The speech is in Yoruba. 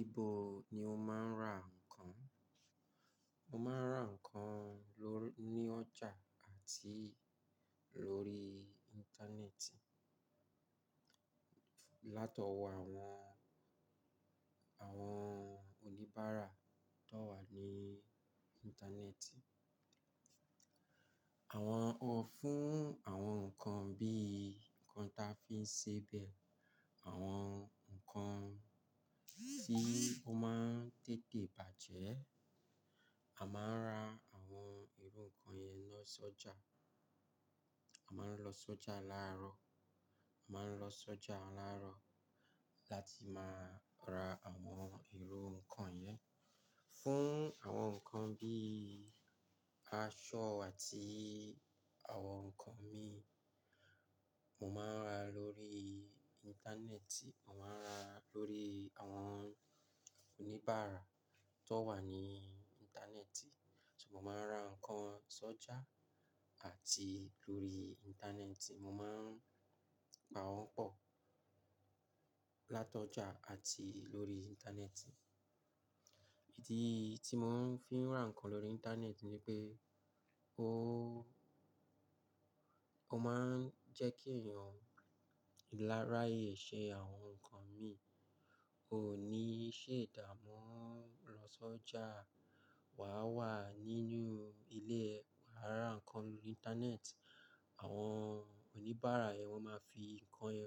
Ibo ni o máa ń ra ǹkan? Mo máa ń ra ǹkan ló-- ní ọjà àti lórí Íńtánẹ́ẹ̀tì. Láto wọ àwọn, àwọn oníbàárà tó wà ní Íńtánẹ́ẹ̀tì. Àwọn ọ-- fún àwọn ǹkan bí i ǹkan ta fi ń sebẹ̀, àwọn ǹkan tí ó máa ń tètè bàjẹ́, a máa ń ra àwọn irú ǹkan yẹn lọ sójà. A máa ń lọ sójà láàárọ̀, a máa ń lọ sójà láàárọ̀ láti máa ra àwọn irú ǹkan yẹn. Fún àwọn ǹkan bí i aṣọ àti àwọn ǹkan mì, mo máa ń ra lórí Íńtánẹ́ẹ̀tì, mo máa ń ra lórí àwọn oníbàárà tó wà ní Íńtánẹ́ẹ̀tì. So mo máa ń ra ǹkan sójà àti lórí Íńtánẹ́ẹ̀tì. Mo máa ń pa wọ́n pọ̀ látọjà àti lórí Íńtánẹ́ẹ̀tì. Ìdí tí mo fi ń ra ǹkan lórí Íńtánẹ́ẹ̀tì ni pé ó, ó máa ń jẹ́ kí èèyàn láráye ṣe àwọn ǹkan mì. Kò ní í ṣe ìdámu lọ sójà. Wà á wà nínú ilé, wà á ra ǹkan lórí Íńtánẹ́ẹ̀tì. Àwọn oníbàárà yẹn wọ́n máa fi ǹkan rẹ